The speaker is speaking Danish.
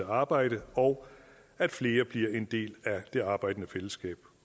arbejde og at flere bliver en del af det arbejdende fællesskab